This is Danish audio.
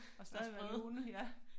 Og stadig være lune ja